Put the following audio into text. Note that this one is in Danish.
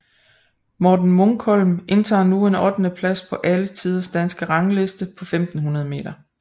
Morten Munkholm indtager nu en ottendeplads på alle tiders danske rangliste på 1500 meter